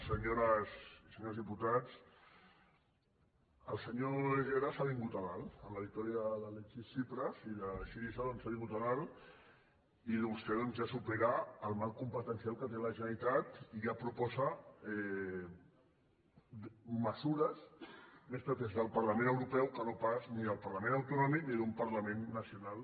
senyores i senyors diputats el senyor herrera s’ha vingut a dalt amb la victòria de l’alexis tsipras i de syriza doncs s’ha vingut a dalt i vostè ja supera el marc competencial que té la generalitat i ja proposa mesures més pròpies del parlament europeu que no pas ni del parlament autonòmic ni d’un parlament nacional